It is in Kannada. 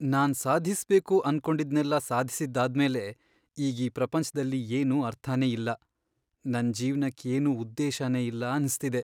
ನಾನ್ ಸಾಧಿಸ್ಬೇಕು ಅನ್ಕೊಂಡಿದ್ನೆಲ್ಲ ಸಾಧ್ಸಿದ್ದಾದ್ಮೇಲೆ ಈಗ್ ಈ ಪ್ರಪಂಚ್ದಲ್ಲಿ ಏನೂ ಅರ್ಥನೇ ಇಲ್ಲ, ನನ್ ಜೀವ್ನಕ್ ಏನೂ ಉದ್ದೇಶನೇ ಇಲ್ಲ ಅನ್ಸ್ತಿದೆ.